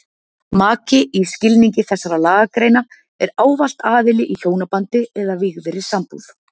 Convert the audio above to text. Maki í skilningi þessara lagagreina er ávallt aðili í hjónabandi eða vígðri sambúð.